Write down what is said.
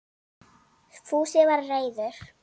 Fúsi var reiður.